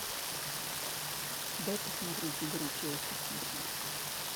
дай посмотреть игру челси сити